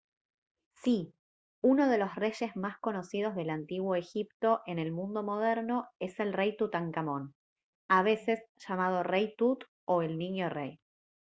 ¡sí! uno de los reyes más conocidos del antiguo egipto en el mundo moderno es el rey tutankamón a veces llamado «rey tut» o «el niño rey»